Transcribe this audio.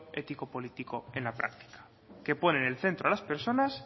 ético político en la práctica que pone en el centro a las personas